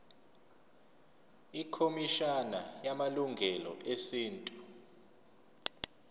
ikhomishana yamalungelo esintu